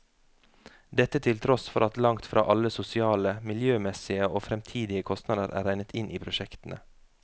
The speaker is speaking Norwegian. Dette til tross for at langt fra alle sosiale, miljømessige og fremtidige kostnader er regnet inn i prosjektene.